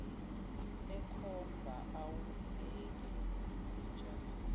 ekhomba awubheke sinjani